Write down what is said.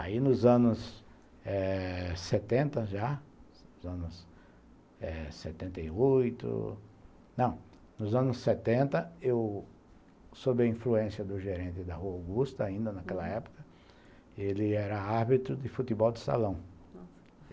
Aí, nos anos eh setenta já, nos anos setenta e oito... Não, nos anos setenta, eu, sob a influência do gerente da Rua Augusta, uhum, ainda naquela época, ele era árbitro de futebol de salão.